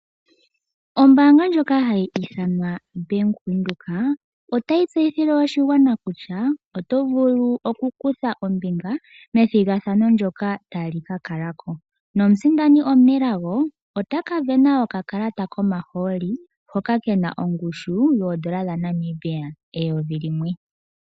Ombaanga ndjoka hayi ithanwa Bank Windhoek otayi tseyithile oshigwana kutya oto vulu okukutha ombinga methigathano ndyoka tali ka kala ko. Omusindani omunelago ota ka sindana okakalata komahooli hoka ke na ongushu yooN$ 1000.